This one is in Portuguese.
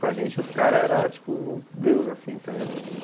Para gente os caras eram tipo os deuses, assim, tá ligado?